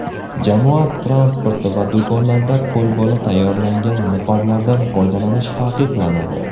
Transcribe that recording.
Jamoat transporti va do‘konlarda qo‘lbola tayyorlangan niqoblardan foydalanish taqiqlanadi.